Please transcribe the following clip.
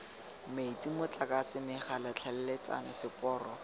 metsi motlakase megala tlhaeletsano seporo